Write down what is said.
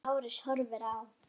Lárus horfir á.